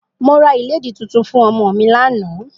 Mo ra ìlédì tuntun fún ọmọ mi lánàá